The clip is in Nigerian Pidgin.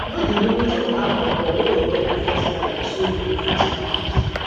know di limit of alcohol wey your body fit carry so you go fit manage